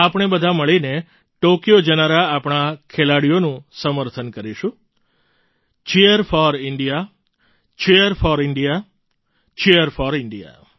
આપણે બધા મળીને ટૉક્યો જનારા આપણા ખેલાડીઓનું સમર્થન કરીશું Cheer4India Cheer4India Cheer4India